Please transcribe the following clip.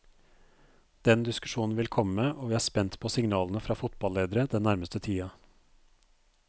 Den diskusjonen vil komme, og vi er spent på signalene fra fotballedere den nærmeste tiden.